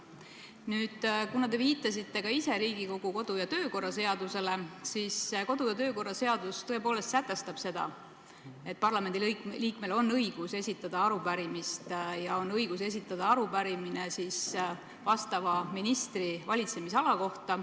Nüüd, kuna te viitasite ka ise Riigikogu kodu- ja töökorra seadusele, siis kodu- ja töökorra seadus tõepoolest sätestab, et parlamendiliikmel on õigus esitada arupärimist ja tal on õigus esitada see vastava ministri valitsemisala kohta.